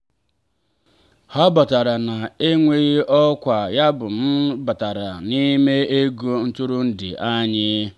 ha batara na-enweghị ọkwa yabụ m batara n'ime ego ntụrụndụ anyị.